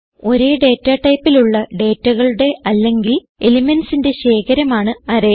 ഒരേ ഡേറ്റ ടൈപ്പിലുള്ള ഡേറ്റകളുടെ അല്ലെങ്കിൽ elementsന്റെ ശേഖരമാണ് അറേ